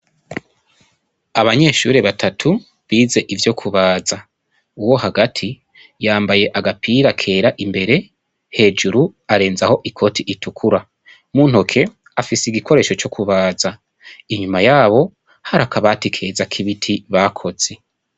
Abanyeshure batatu bize ivyo kubaza uwo hagati yambaye agapira kera imbere hejuru arenzaho ikoti itukura mu ntoke afise igikoresho co kubaza inyuma yabo hari akabati keza k' ibiti bakoze.